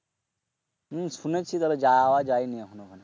হম শুনেছি তবে যাওয়া যায়নি এখনো ওখানে